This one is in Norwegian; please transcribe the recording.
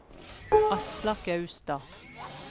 Aslak Austad